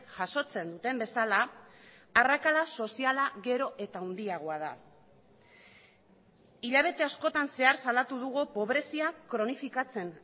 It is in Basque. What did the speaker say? jasotzen duten bezala arrakala soziala gero eta handiagoa da hilabete askotan zehar salatu dugu pobrezia kronifikatzen